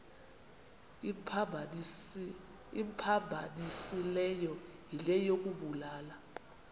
imphambanisileyo yile yokubulala